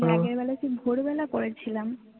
রাতের বেলা কি ভোর বেলা করেছিলাম